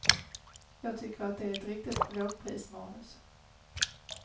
Jag tycker att det är ett riktigt lågprismanus.